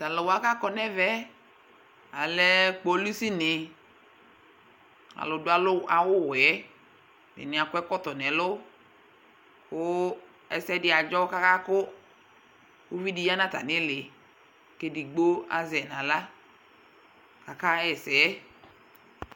Taluwa kakɔ nɛvɛɛ, Alɛ kpolusi ni, alu du awuwɛɛƐdini akɔ ɛkɔtɔ nɛlʋKʋ ɛsɛdi adzo kaka kʋ uvidi ya natamiliKedigbo azɛ naɣla, kakaɣɛsɛ